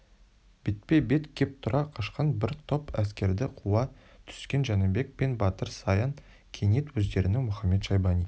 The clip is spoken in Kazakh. бетпе-бет кеп тұра қашқан бір топ әскерді қуа түскен жәнібек пен батыр саян кенет өздерінің мұхамед-шайбани